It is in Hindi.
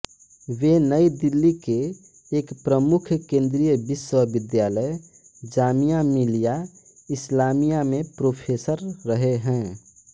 वे नई दिल्ली के एक प्रमुख केन्द्रिय विश्वविद्यालय जामिया मिलिया इस्लामिया में प्रोफेसर रहें हैं